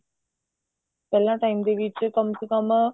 ਪਹਿਲਾਂ time ਦੇ ਵਿੱਚ ਕਮ ਸੇ ਕਮ